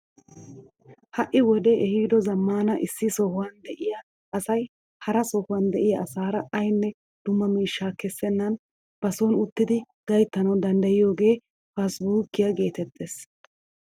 Ha'i wodee ehiido zammaana issi sohuwaan de'iyaa asay hara sohuwaan de'iyaa asaara aynne dumma miishsha keessenan ba soni uttidi gayttanawu danddayiyoogee faasibuukiyaa getettees!